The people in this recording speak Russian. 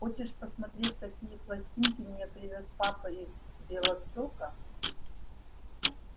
хочешь посмотреть какие пластинки мне привёз папа из белостока